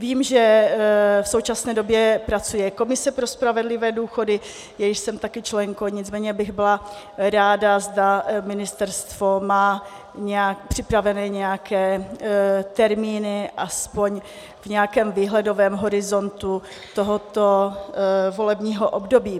Vím, že v současné době pracuje komise pro spravedlivé důchody, jejíž jsem taky členkou, nicméně bych byla ráda, zda ministerstvo má připravené nějaké termíny aspoň v nějakém výhledovém horizontu tohoto volebního období.